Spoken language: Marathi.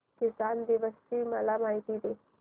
किसान दिवस ची मला माहिती दे